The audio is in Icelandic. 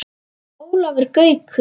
Ólafur Gaukur